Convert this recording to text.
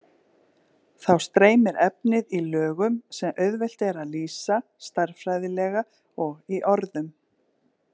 Þá streymir efnið í lögum sem auðvelt er að lýsa stærðfræðilega og í orðum.